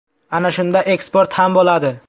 Ana shunda eksport ham bo‘ladi.